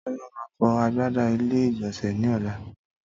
Tólá má fọ agbada ilé ìgbònsè ní ọ̀la